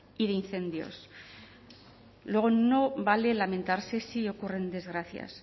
y de incendios luego no vale lamentarse si ocurren desgracias